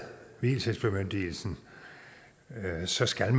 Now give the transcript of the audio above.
vielsesbemyndigelsen så skal